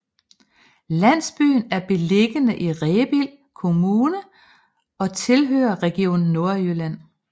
Landsbyen er beliggende i Rebild Kommune og tilhører Region Nordjylland